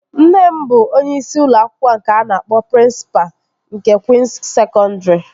Nne m bụ onyeisi ụlọ akwụkwọ nke a na-akpọ prịnsịpa nke Kwịns Sekọndri